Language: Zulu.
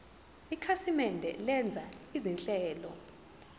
ikhasimende lenza izinhlelo